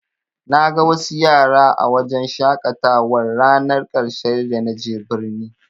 Naga wasu yara a wajen shaƙatawar rannar ƙarshe da na je birni.